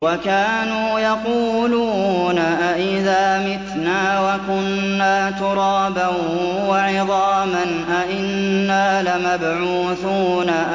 وَكَانُوا يَقُولُونَ أَئِذَا مِتْنَا وَكُنَّا تُرَابًا وَعِظَامًا أَإِنَّا لَمَبْعُوثُونَ